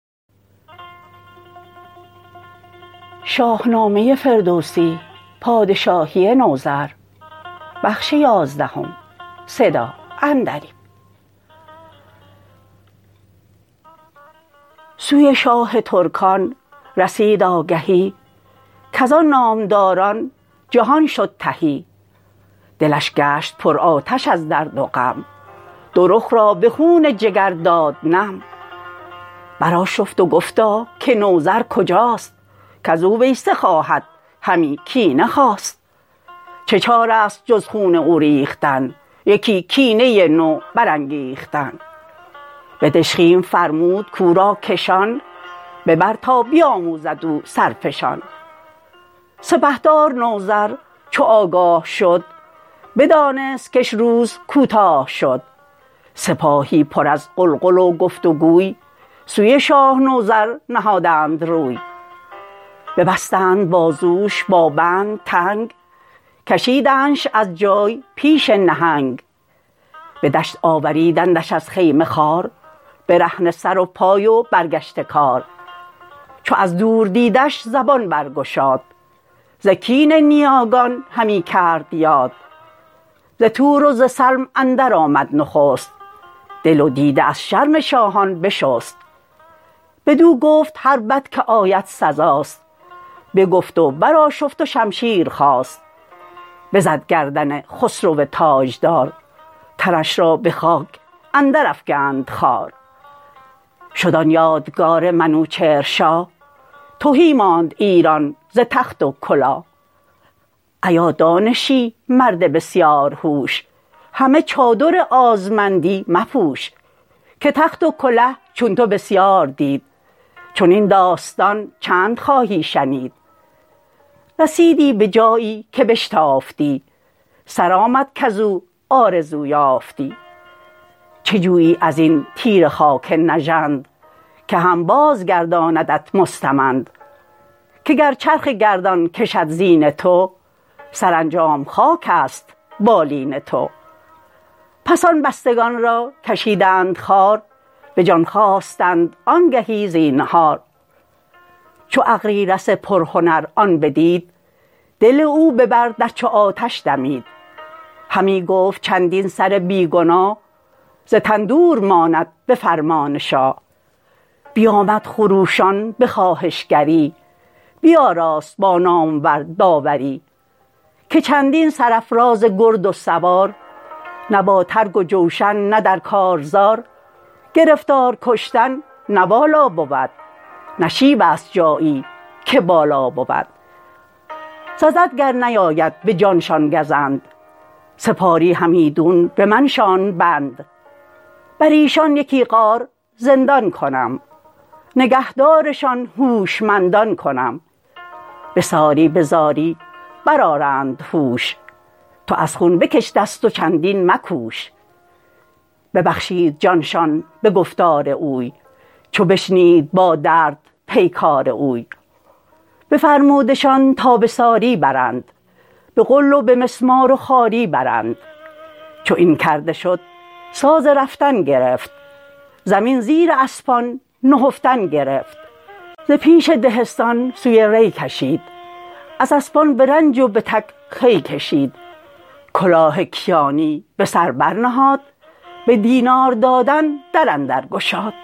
سوی شاه ترکان رسید آگهی کزان نامداران جهان شد تهی دلش گشت پر آتش از درد و غم دو رخ را به خون جگر داد نم برآشفت و گفتا که نوذر کجاست کزو ویسه خواهد همی کینه خواست چه چاره است جز خون او ریختن یکی کینه نو برانگیختن به دژخیم فرمود کو را کشان ببر تا بیاموزد او سرفشان سپهدار نوذر چو آگاه شد بدانست کش روز کوتاه شد سپاهی پر از غلغل و گفت و گوی سوی شاه نوذر نهادند روی ببستند بازوش با بند تنگ کشیدندش از جای پیش نهنگ به دشت آوریدندش از خیمه خوار برهنه سر و پای و برگشته کار چو از دور دیدش زبان برگشاد ز کین نیاگان همی کرد یاد ز تور و ز سلم اندر آمد نخست دل و دیده از شرم شاهان بشست بدو گفت هر بد که آید سزاست بگفت و برآشفت و شمشیر خواست بزد گردن خسرو تاجدار تنش را بخاک اندر افگند خوار شد آن یادگار منوچهر شاه تهی ماند ایران ز تخت و کلاه ایا دانشی مرد بسیار هوش همه چادر آزمندی مپوش که تخت و کله چون تو بسیار دید چنین داستان چند خواهی شنید رسیدی به جایی که بشتافتی سرآمد کزو آرزو یافتی چه جویی از این تیره خاک نژند که هم بازگرداندت مستمند که گر چرخ گردان کشد زین تو سرانجام خاکست بالین تو پس آن بستگان را کشیدند خوار به جان خواستند آنگهی زینهار چو اغریرث پرهنر آن بدید دل او ببر در چو آتش دمید همی گفت چندین سر بی گناه ز تن دور ماند به فرمان شاه بیامد خروشان به خواهشگری بیاراست با نامور داوری که چندین سرافراز گرد و سوار نه با ترگ و جوشن نه در کارزار گرفتار کشتن نه والا بود نشیبست جایی که بالا بود سزد گر نیاید به جانشان گزند سپاری همیدون به من شان ببند بریشان یکی غار زندان کنم نگهدارشان هوشمندان کنم به ساری به زاری برآرند هوش تو از خون به کش دست و چندین مکوش ببخشید جان شان به گفتار اوی چو بشنید با درد پیکار اوی بفرمودشان تا به ساری برند به غل و به مسمار و خواری برند چو این کرده شد ساز رفتن گرفت زمین زیر اسپان نهفتن گرفت ز پیش دهستان سوی ری کشید از اسپان به رنج و به تک خوی کشید کلاه کیانی به سر بر نهاد به دینار دادن در اندرگشاد